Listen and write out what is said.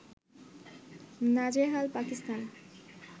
নাজেহাল পাকিস্তান